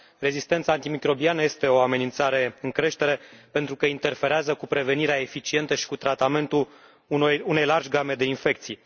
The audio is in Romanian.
Rezistența antimicrobiană este o amenințare în creștere pentru că interferează cu prevenirea eficientă și cu tratamentul unei largi game de infecții.